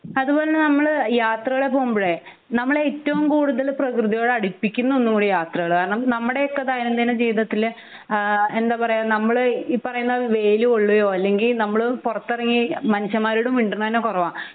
അതുപോലെ നമ്മൾ യാത്രകൾ പോകുമ്പോളെ നമ്മളെ ഏറ്റവും കൂടുതൽ പ്രകൃതിയോട് അടുപ്പിക്കുന്ന ഒന്നും കൂടിയാണ് യാത്രകൾ കാരണം നമ്മുടെ ഒക്കെ ദൈന്യന്തിന ജീവിതത്തിൽ ആഹ് എന്താ പറയാ നമ്മൾ ഈ പറയുന്ന വെയിൽ കൊള്ളുകയോ അല്ലെങ്കി നമ്മൾ പൊറത്തിറങ്ങി മനുഷ്യന്മാരോട് മിണ്ടുന്നേ തന്നെ കുറവാ